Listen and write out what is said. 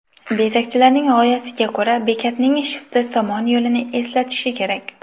Bezakchilarning g‘oyasiga ko‘ra, bekatning shifti Somon yo‘lini eslatishi kerak.